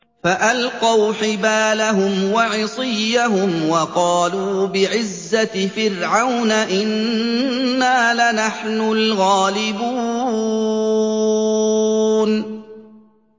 فَأَلْقَوْا حِبَالَهُمْ وَعِصِيَّهُمْ وَقَالُوا بِعِزَّةِ فِرْعَوْنَ إِنَّا لَنَحْنُ الْغَالِبُونَ